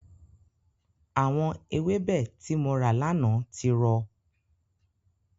Àwọn ewébẹ̀ tí mo rà lánàá ti rọ.